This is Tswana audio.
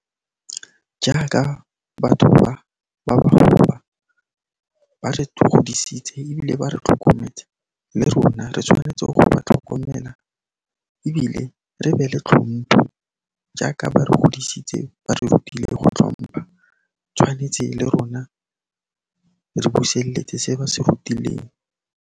Jaaka batho ba, ba bagolo ba, ba re godisitse ebile ba re tlhokometse le rona re tshwanetse go ba tlhokomela ebile re be le tlhompho jaaka ba re godisitse, ba re rutile le go tlhompha, tshwanetse le rona re buselletse se ba se rutileng.